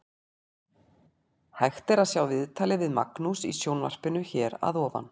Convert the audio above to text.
Hægt er að sjá viðtalið við Magnús í sjónvarpinu hér að ofan.